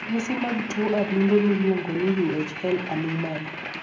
ranyisi mag tuo adundo miluongo ni Uhl anomali?